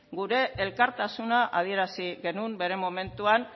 gure elkartasuna adierazi genuen bere momentuan